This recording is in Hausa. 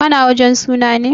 Ka na wajen suna ne?